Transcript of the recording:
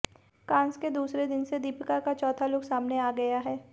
Cannes के दूसरे दिन से दीपिका का चौथा लुक सामने आ गया है